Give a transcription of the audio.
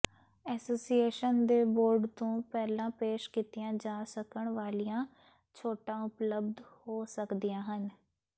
association ਦੇ board ਤੋਂ ਪਹਿਲਾਂ ਪੇਸ਼ ਕੀਤੀਆਂ ਜਾ ਸਕਣ ਵਾਲੀਆਂ ਛੋਟਾਂ ਉਪਲਬਧ ਹੋ ਸਕਦੀਆਂ ਹਨ